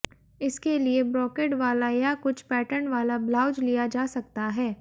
इसके लिए ब्रोकेड वाला या कुछ पैटर्न वाला ब्लाउज लिया जा सकता है